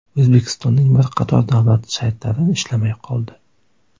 O‘zbekistonning bir qator davlat saytlari ishlamay qoldi.